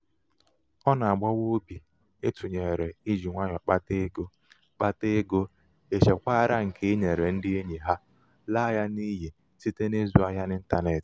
ọ na-agbawa obi ịtụnyere iji nwayọ kpata ego kpata ego ichekwara nke i nyere ndị enyi ha laa ya n'iyi site n'ịzụ ahịa n' ịntanetị.